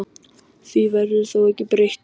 Því verður þó ekki breytt